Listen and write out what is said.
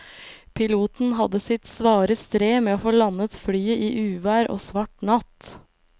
Piloten hadde sitt svare strev med å få landet flyet i uvær og svart natt.